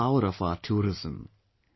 This is the power of our tourism